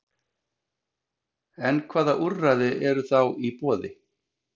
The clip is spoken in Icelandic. En hvaða úrræði eru þá í boði?